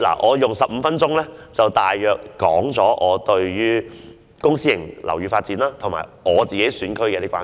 我花了15分鐘，大約表達了我對公私營樓宇發展及我所屬選區的關注。